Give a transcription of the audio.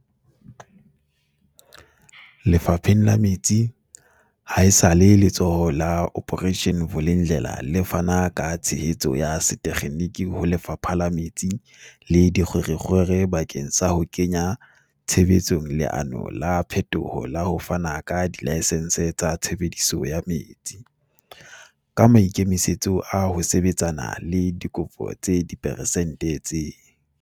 Lefapheng la metsi, ha esale Letsholo la Operation Vulindlela le fana ka tshehetso ya setekgeniki ho Lefapha la Metsi le Dikgwerekgwere bakeng sa ho kenya tshebetsong leano la phetoho la ho fana ka dilaesense tsa tshebediso ya metsi, ka maikemisetso a ho sebetsana le dikopo tse diperesente tse